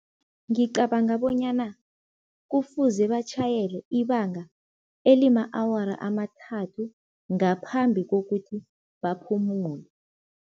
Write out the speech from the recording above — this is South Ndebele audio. Ngicabanga bonyana kufuze batjhayele ibanga elima-awara amathathu, ngaphambi kokuthi baphumule.